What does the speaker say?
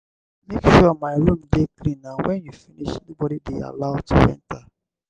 make sure my room dey clean and wen you finish nobody dey allowed to enter.